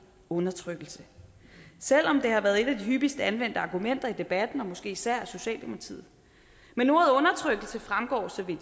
undertrykkelse selv om det har været et af de hyppigst anvendte argumenter i debatten og måske især af socialdemokratiet men ordet undertrykkelse fremgår så vidt